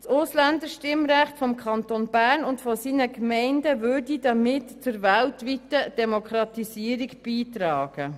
Das Ausländerstimmrecht des Kantons Bern und seiner Gemeinden würde damit zur weltweiten Demokratisierung beitragen.